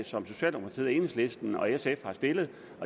som socialdemokratiet enhedslisten og sf har stillet